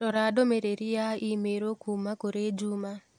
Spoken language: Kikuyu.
Rora ndũmĩrĩri ya i-mīrū kuuma kũrĩ Juma